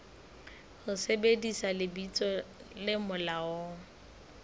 ho sebedisa lebitso le molaong